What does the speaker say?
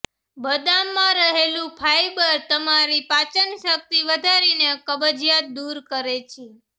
બદામમાં રહેલુ ફાયબર તમારી પાચનશક્તિ વધારીને કબજીયાત દુર કરે છે